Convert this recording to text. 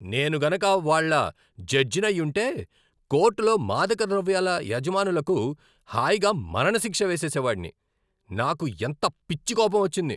నేను గనుక వాళ్ళ జడ్జినయ్యుంటే కోర్టులో మాదకద్రవ్యాల యజమానులకు హాయిగా మరణశిక్ష వేసేసేవాడిని. నాకు ఎంత పిచ్చి కోపం వచ్చింది.